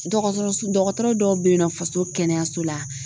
Dɔgɔtɔrɔso dɔgɔtɔrɔ dɔw bɛ yen nɔ faso kɛnɛyaso la